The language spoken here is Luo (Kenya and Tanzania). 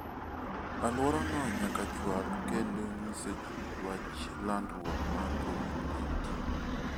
Alworano nyaka chwal kendo nyiso ji wach landruok mar Covid-19.